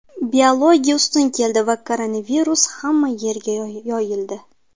Biologiya ustun keldi va koronavirus hamma yerga yoyildi.